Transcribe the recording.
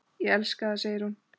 Ég elska það, segir hún.